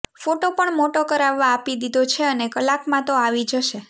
photo પણ મોટો કરાવવા આપી દીધો છે અને કલાકમાં તો આવી જશે